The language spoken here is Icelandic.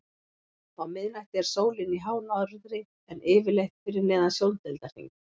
Á miðnætti er sólin í hánorðri en yfirleitt fyrir neðan sjóndeildarhring.